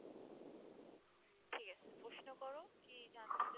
ঠিক আছে প্রশ্ন করো কি জানতে চাচ্ছো?